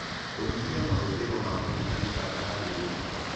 Kũnyĩhĩa mahũthĩro ma magũta nĩ bata harĩ ũgima